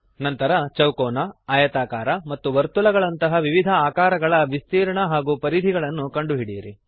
ನಂತರ ಚೌಕೋನ ಆಯತಾಕಾರ ಮತ್ತು ವರ್ತುಲಗಳಂತಹ ವಿವಿಧ ಆಕಾರಗಳ ವಿಸ್ತೀರ್ಣ ಏರಿಯಾ ಹಾಗೂ ಪರಿಧಿ ಪೆರಿಮೀಟರ್ ಗಳನ್ನು ಕಂಡುಹಿಡಿಯಿರಿ